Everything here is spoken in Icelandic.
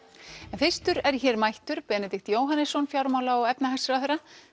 en fyrstur er hér mættur Benedikt Jóhannesson fjármála og efnhagsráðherra